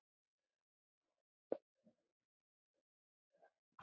Blessuð sé minning Gullu.